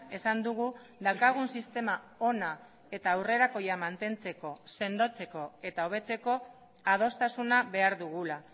esan dugu daukagun sistema ona eta aurrerakoia mantentzeko sendotzeko eta hobetzeko adostasuna behar dugula